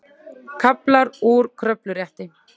Kaflar úr kröfurétti.